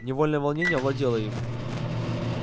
невольное волнение овладело им